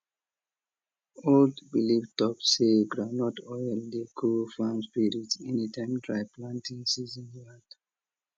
old belief talk say groundnut oil dey cool farm spirits anytime dry planting season land